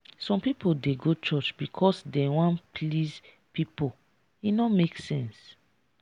some pipo dey go church because dem wan please pipo e no make sense.